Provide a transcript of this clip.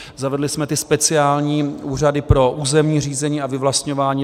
Zavedli jsme ty speciální úřady pro územní řízení a vyvlastňování.